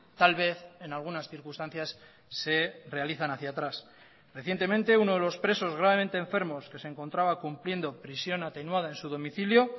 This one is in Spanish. tal vez en algunas circunstancias se realizan hacia atrás recientemente uno de los presos gravemente enfermos que se encontraba cumpliendo prisión atenuada en su domicilio